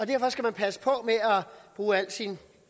derfor skal man passe på med at bruge al sin